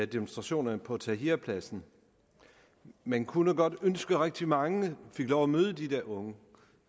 demonstrationerne på tahrirpladsen man kunne godt ønske at rigtig mange fik lov at møde de der unge